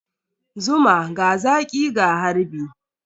Zuma, ga zaƙi ga harbi.